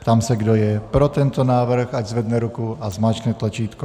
Ptám se, kdo je pro tento návrh, ať zvedne ruku a zmáčkne tlačítko.